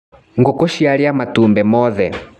Ngũkũ ciaria matumbĩ mothe.